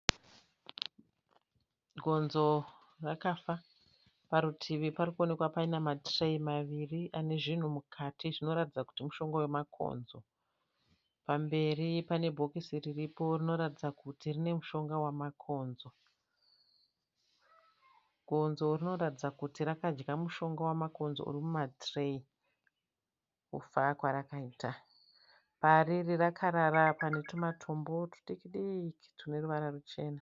Gonzo rakafa. Parutivi parikuonekwa paine matireyi maviri ane zvinhu mukati zvinoratidza kuti mushonga wamakonzo. Pamberi pane bhokisi riripo rinoratidza kuti rine mushonga wamakonzo. Gonzo rinoratidza kuti rakadya mushonga wamakonzo urimuma tireyi, kufa kwarakaita. Pariri rakarara, pane tumatombo tudiki diki tune ruvara ruchena.